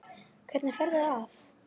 Hvernig ferðu að?